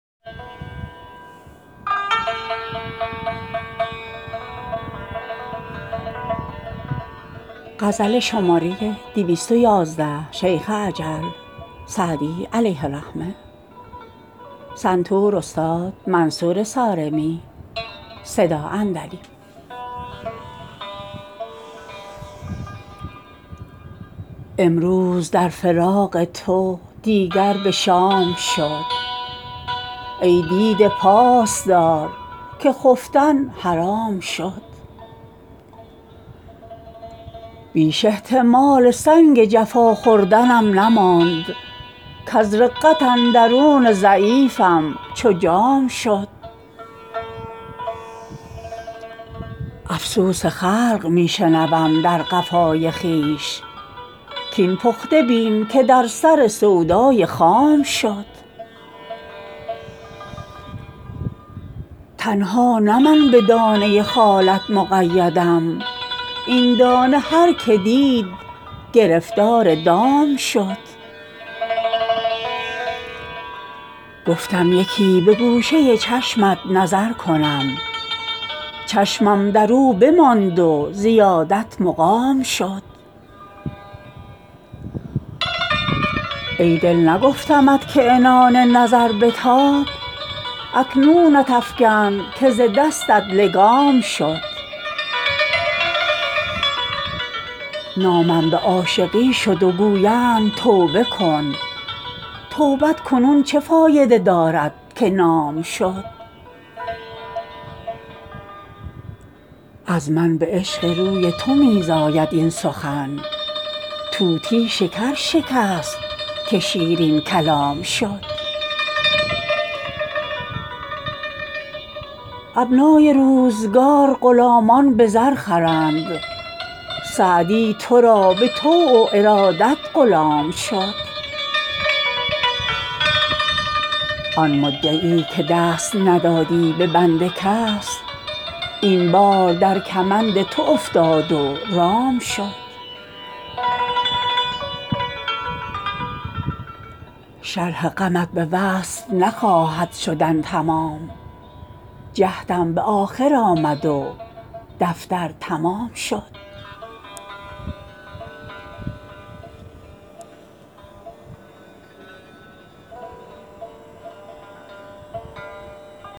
امروز در فراق تو دیگر به شام شد ای دیده پاس دار که خفتن حرام شد بیش احتمال سنگ جفا خوردنم نماند کز رقت اندرون ضعیفم چو جام شد افسوس خلق می شنوم در قفای خویش کاین پخته بین که در سر سودای خام شد تنها نه من به دانه خالت مقیدم این دانه هر که دید گرفتار دام شد گفتم یکی به گوشه چشمت نظر کنم چشمم در او بماند و زیادت مقام شد ای دل نگفتمت که عنان نظر بتاب اکنونت افکند که ز دستت لگام شد نامم به عاشقی شد و گویند توبه کن توبت کنون چه فایده دارد که نام شد از من به عشق روی تو می زاید این سخن طوطی شکر شکست که شیرین کلام شد ابنای روزگار غلامان به زر خرند سعدی تو را به طوع و ارادت غلام شد آن مدعی که دست ندادی به بند کس این بار در کمند تو افتاد و رام شد شرح غمت به وصف نخواهد شدن تمام جهدم به آخر آمد و دفتر تمام شد